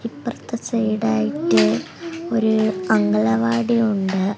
ഇപ്പറത്തെ side ആയിട്ട് ഒരു അംഗലവാടി ഉണ്ട്.